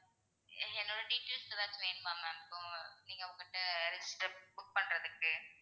என்னோட details ஏதாச்சும் வேணுமாம் ma'am இப்போ நீங்க உங்ககிட்ட register book பண்றதுக்கு?